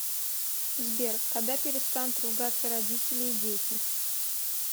сбер когда перестанут ругаться родители и дети